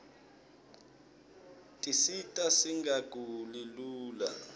tisita singaguli lula